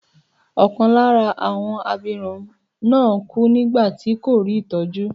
Ọkàn lára àwọn abirùn náà kú nígbà tí kò rí ìtọ́jú.